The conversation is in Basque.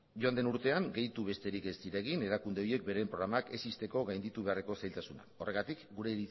joan den urtean gehitu besterik ez ziren egin erakunde horiek beren programak ez ixteko gainditu beharreko zailtasuna horregatik gure